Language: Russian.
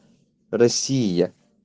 россия